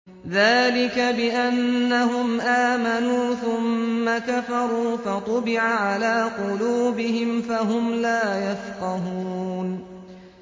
ذَٰلِكَ بِأَنَّهُمْ آمَنُوا ثُمَّ كَفَرُوا فَطُبِعَ عَلَىٰ قُلُوبِهِمْ فَهُمْ لَا يَفْقَهُونَ